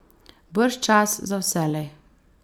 Bržčas za vselej.